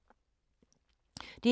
DR K